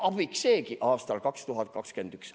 Abiks seegi aastal 2021.